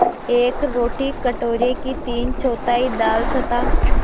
एक रोटी कटोरे की तीनचौथाई दाल तथा